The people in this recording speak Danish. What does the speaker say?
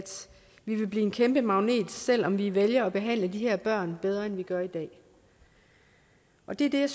vi vil blive en kæmpe magnet selv om vi vælger at behandle de her børn bedre end vi gør i dag og det er det